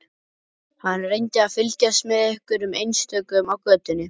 Hann reyndi að fylgjast með hverjum einstökum á götunni.